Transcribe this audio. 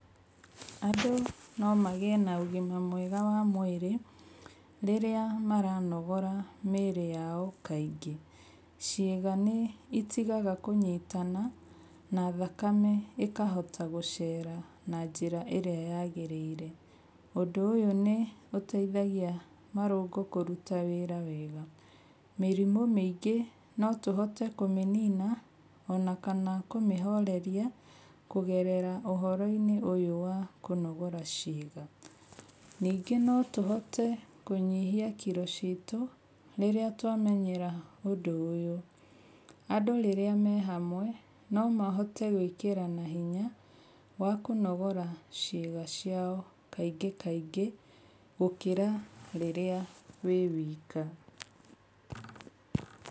Andũ nomagĩe na ũgima mwega wa mwĩrĩ rĩrĩa maranogora mĩĩrĩ yao kaingĩ. Ciĩga nĩ itigaga kũnyitana na thakame ĩkahota gũceera na njĩra ĩrĩa yagĩrĩire. Ũndũ ũyũ nĩũteithagia marũngo kũruta wĩra wega. Mĩrimũ mĩingĩ notũhote kũmĩnina ona kana kũmĩhoreria kũgerera ũhoro-inĩ ũyũ wa kũnogora ciĩga. Ningĩ notũhote kũnyihia kiro ciitũ rĩrĩa twamenyera ũndũ ũyũ. Andũ rĩrĩa me hamwe nomahote gwĩkĩrana hinya wa kũnogora ciĩga ciao kaingĩ kaingĩ gũkĩra rĩrĩa wĩ wika.